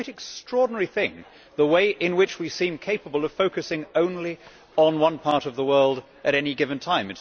It is a quite extraordinary thing the way in which we seem capable of focusing only on one part of the world at any given time.